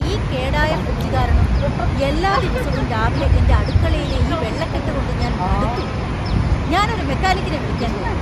ഈ കേടായ ഫ്രിഡ്ജ് കാരണം എല്ലാ ദിവസവും രാവിലെ എന്റെ അടുക്കളയിലെ ഈ വെള്ളക്കെട്ട് കൊണ്ട് ഞാൻ മടുത്തു ! ഞാൻ ഒരു മെക്കാനിക്കിനെ വിളിക്കാൻ പോകുന്നു .